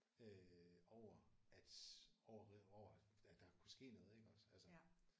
Øh over at over at over at at der kunne ske noget iggås altså